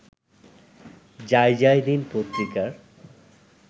যায়যায় দিন পত্রিকার